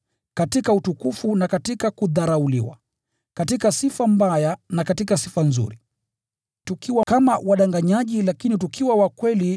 katika utukufu na katika kudharauliwa; katika sifa mbaya na katika sifa nzuri; tukiwa kama wadanganyaji, lakini tukiwa wakweli;